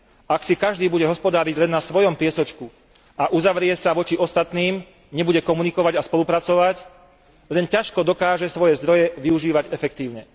Ak si každý bude hospodáriť len na svojom piesočku a uzavrie sa voči ostatným, nebude komunikovať a spolupracovať, len ťažko dokáže svoje zdroje využívať efektívne.